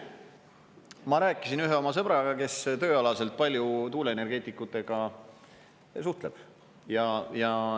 Ma rääkisin ühe oma sõbraga, kes tööalaselt palju tuuleenergeetikutega suhtleb.